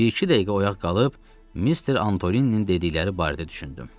Bir-iki dəqiqə oyaq qalıb, Mister Antolinin dedikləri barədə düşündüm.